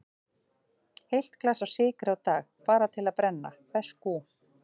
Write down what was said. Heilt glas af sykri á dag, bara til að brenna, veskú.